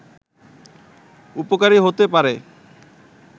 উপকারী হতে পারে